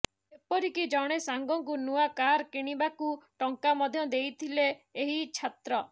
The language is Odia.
ଏପରିକି ଜଣେ ସାଙ୍ଗକୁ ନୂଆ କାର କିଣିବାକୁ ଟଙ୍କା ମଧ୍ୟ ଦେଇଥିଲେ ଏହି ଛାତ୍ର